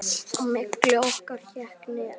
Á milli okkar hékk net.